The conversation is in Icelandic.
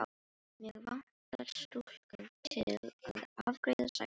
Mig vantar stúlku til að afgreiða sagði hann.